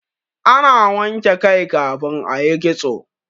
ana wanke kai kafin a yi kitso